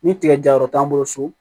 Ni tigɛ janyɔrɔ t'an bolo so